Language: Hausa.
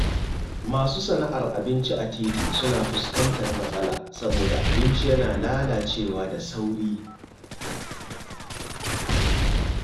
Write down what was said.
Masu sana’ar abinci a titi suna fuskantar matsala saboda abinci yana lalacewa da sauri.